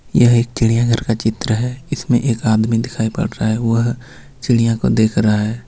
यह एक चिड़ियाघर का चित्र है इसमें एक आदमी दिखाई पड़ रहा है वह चिड़िया को देख रहा है.